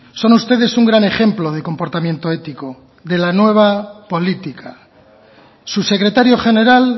son ustedes un gran ejemplo de comportamiento ético de la nueva política su secretario general